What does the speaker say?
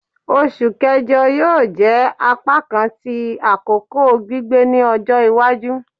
Oṣu Kẹjọ yoo jẹ apakan ti akoko gbigbẹ ni ọjọ iwaju